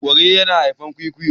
kare yana haifar kwikwiyo